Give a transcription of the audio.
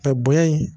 bonya in